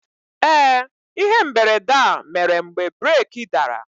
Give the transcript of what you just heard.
Ee, ihe mberede a mere mgbe breeki dara.